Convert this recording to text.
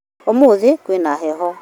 Ũmũthĩ kwĩna heho